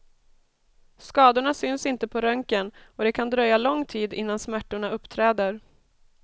Skadorna syns inte på röntgen, och det kan dröja lång tid innan smärtorna uppträder.